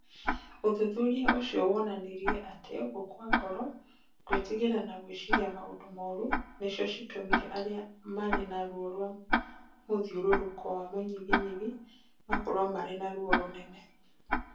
Ũthuthuria ũcio woonanirie atĩ gũkua ngoro, gwĩtigĩra na gwĩciria maũndũ moru nĩcio ciatũmire arĩa maarĩ na ruo rwa mũthiũrũrũko wa mũnyiginyigi makorũo marĩ na ruo rũnene.